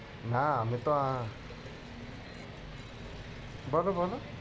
না আমি তো আ~ বলো বলো।